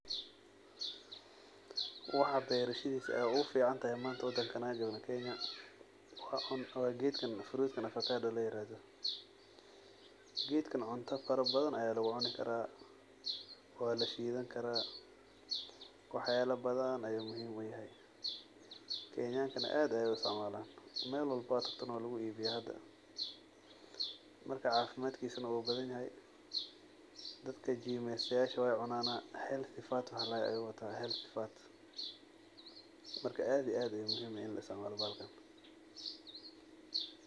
Waxaa beerashadiisa ugu fican tahay waa geedkan ovacado kadaho waa la shiidan karaa cafimaadkiisa wuu fican yahay meel walbo waa lagu gadaa aad iyo aad ayuu ufican yahay bahalkan.